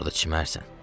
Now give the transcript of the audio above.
Orda çimərsən.